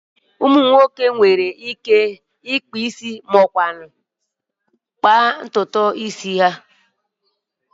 Ụmụ nwoke nwere ike ịkpụ isi maọbụ kpaa ntutu isi ha